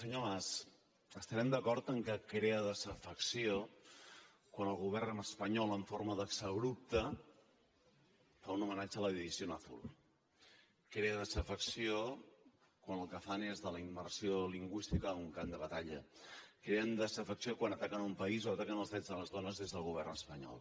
senyor mas estarem d’acord que crea desafecció quan el govern espanyol en forma d’exabrupte fa un homenatge a la división azul crea desafecció quan el que fan és de la immersió lingüística un camp de batalla creen desafecció quan ataquen un país o ataquen els drets de les dones des del govern espanyol